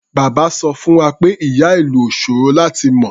Bàbá sọ fún wa pé ìyá-ìlù ò ṣòro láti mọ.